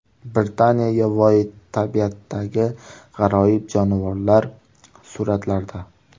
Britaniya yovvoyi tabiatidagi g‘aroyib jonivorlar suratlarda.